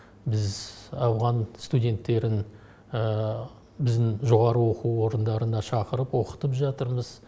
біз ауған студенттерін біздің жоғарғы оқу орындарына шақырып оқытып жатырмыз